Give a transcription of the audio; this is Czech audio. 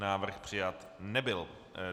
Návrh přijat nebyl.